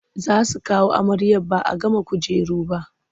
Za su kawo amaryar ba a gama kujeru ba.